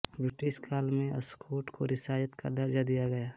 British काल में अस्कोट को रियासत का दर्जा दिया गया